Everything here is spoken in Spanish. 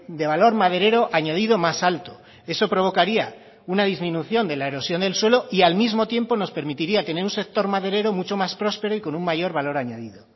de valor maderero añadido más alto eso provocaría una disminución de la erosión del suelo y al mismo tiempo nos permitiría tener un sector maderero mucho más prospero y con un mayor valor añadido